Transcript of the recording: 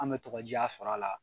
An bɛ tɔgɔdiya sɔr'a la